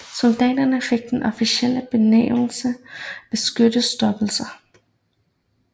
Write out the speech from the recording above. Soldaterne fik den officielle benævnelse beskyttelsestropper